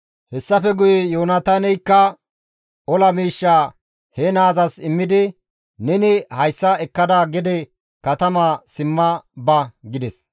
Hessafe guye Yoonataaneykka ola miishshaa he naazas immidi, «Neni hayssa ekkada gede katama simma ba» gides.